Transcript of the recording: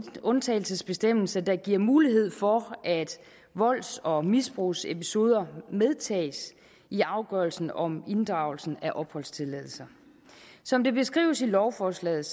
undtagelsesbestemmelse der giver mulighed for at volds og misbrugsepisoder medtages i afgørelsen om inddragelsen af opholdstilladelser som det beskrives i lovforslaget